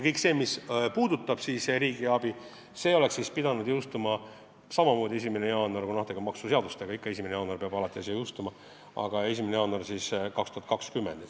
Kõik see, mis on seotud riigiabi loaga, oleks pidanud jõustuma samamoodi 1. jaanuaril – tegemist on maksusid puudutava seadusega, mis peaks jõustuma 1. jaanuaril –, aga 1. jaanuaril 2020.